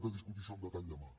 de discutir això amb detall demà